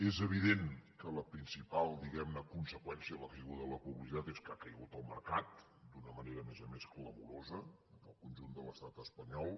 és evident que la principal diguem ne conseqüència de la caiguda de la publicitat és que ha caigut el mercat d’una manera a més a més clamorosa al conjunt de l’estat espanyol